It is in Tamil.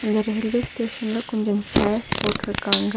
இந்த ரயில்வே ஸ்டேஷன்ல கொஞ்சச் சேர்ஸ் போட்ருக்காங்க.